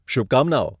શુભકામનાઓ.